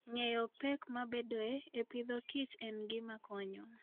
Ng'eyo pek mabedoe e Agriculture and Fooden gima konyo.